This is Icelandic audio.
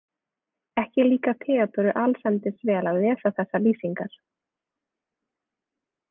Ekki líkar Theodóru allsendis vel að lesa þessar lýsingar.